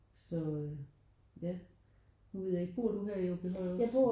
Så øh ja nu ved jeg ikke bor du her i Aabyhøj også?